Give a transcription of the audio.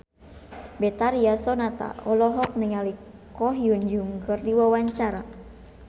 Betharia Sonata olohok ningali Ko Hyun Jung keur diwawancara